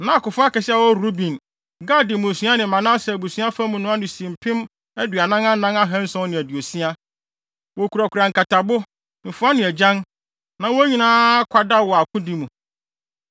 Na akofo akɛse a wɔwɔ Ruben, Gad mmusua ne Manase abusua fa mu no ano si mpem aduanan anan ahanson ne aduosia. Wokurakura nkatabo, mfoa ne agyan, na wɔn nyinaa akwadaw wɔ akodi mu.